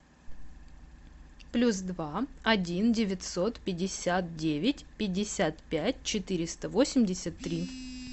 плюс два один девятьсот пятьдесят девять пятьдесят пять четыреста восемьдесят три